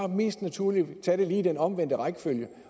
mest naturligt at tage det i den omvendte rækkefølge